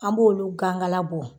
An b'olu gankala bɔ